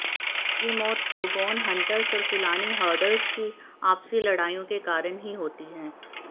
ये मौत Dogon hunters और फुलानी हर्डर्स की आपसी लड़ाइयों के कारण ही होती है